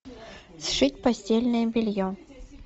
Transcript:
сшить постельное белье